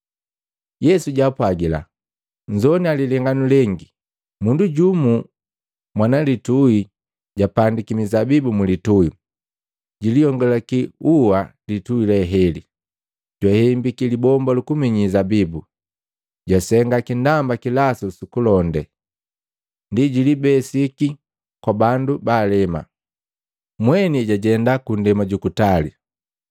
Yesu jwaapwagila, “Nzowania lilenganu lengi. Mundu jumu mwana litui japandiki mizabibu mu litui, juliyongulaki ua litui leheli, jwahembiki libomba lukuminyi zabibu, jwasenga kindamba kilasu sukulonde. Ndi jilibesiki kwa bandu baalema, mweni jwajenda ku ndema jukutali.